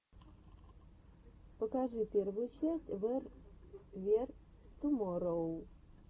покажи первую часть вэр вер туморроу